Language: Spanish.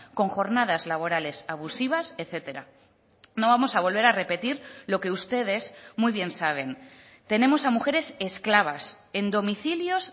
con jornadas laborales abusivas etcétera no vamos a volver a repetir lo que ustedes muy bien saben tenemos a mujeres esclavas en domicilios